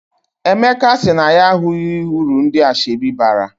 Emeka sị na ya ahụghị uru ndị asọebi bara.